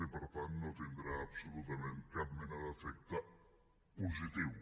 i per tant no tindrà absolutament cap mena d’efecte positiu